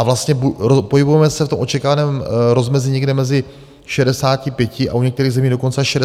A vlastně pohybujeme se v tom očekávaném rozmezí někde mezi 65 a u některých zemí dokonce až 68 let.